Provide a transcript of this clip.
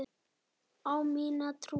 Á mína trú.